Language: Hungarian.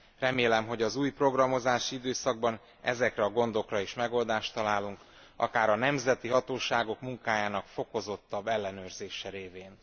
Remélem, hogy az új programozási időszakban ezekre a gondokra is megoldást találunk, akár a nemzeti hatóságok munkájának fokozottabb ellenőrzése révén.